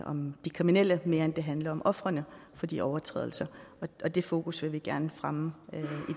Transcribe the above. om de kriminelle mere end de handler om ofrene for de overtrædelser og det fokus vil vi gerne fremme